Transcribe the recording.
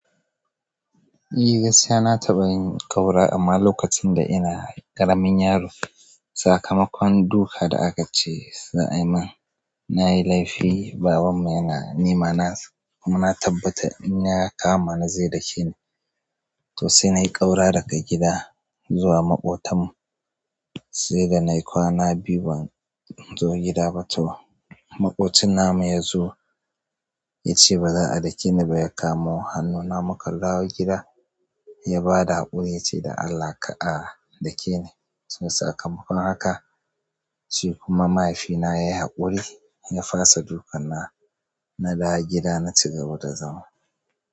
Eh gaskiya na taɓa yin ƙaura amma lokacin da ina ƙaramin yaro. Sakamakon duka da aka ce za a yi min na yi laifi. Babanmu yana nemana kuma na tabbata in ya kama ni zai dake ni, to sai na yi ƙaura daga gida zuwa maƙotanmu, sai da na yi kwana biyu ban zo gida ba to maƙocin namu ya zo ya ce baza a dake ni ba ya kamo hannuna muka dawo gida ya ba da haƙuri ya ce "da Allah kar'a dake ni". Sakamakon haka shi kuma mahaifina ya yi haƙuri ya fasa dukan nawa na dawo gida na cigaba da zama.